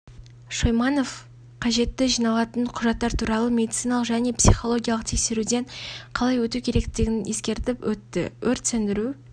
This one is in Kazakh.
шойманов қажетті жиналатын құжаттар туралы медициналық және психологиялық тексеруден қалай өту керектігін ескерттіп өтті өрт сөндіру